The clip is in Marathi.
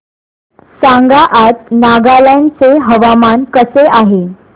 सांगा आज नागालँड चे हवामान कसे आहे